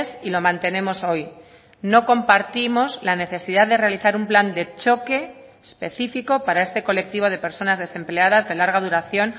y lo mantenemos hoy no compartimos la necesidad de realizar un plan de choque específico para este colectivo de personas desempleadas de larga duración